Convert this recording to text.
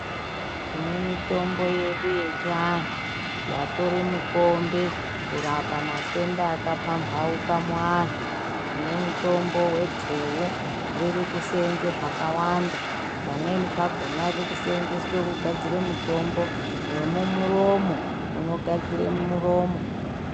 Tine mitombo yedu yechivanhu yatore mutombo kurapa matenda akapfambawuka muwanhu nemutombo wedhewu riri kuseenze zvakawanda pamweni pakona riri kiseenzeswe kugadzira mutombo wemumuromo unogadzire muromo.